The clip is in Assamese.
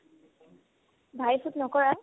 ভাই ফোট নকৰা